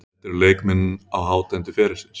Þetta eru leikmenn á hátindi ferilsins.